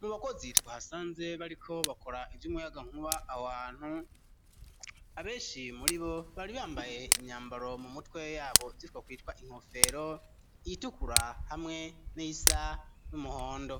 Mu bakozi twahasanze ,bariko bakora ivy'umuyagankuba , ahohantu abenshi muri bo ,bari bambaye imyambaro mu mutwe yabo bimwe kwitwa inkofero ,itukura ,hamwe n'iyisa n'umuhondo